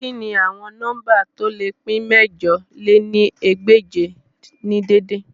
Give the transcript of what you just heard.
Kini awọn nọmba to le pin mẹ̀jọ lé ní ẹgbẹ́je ni dede?